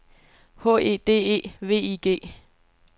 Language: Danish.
H E D E V I G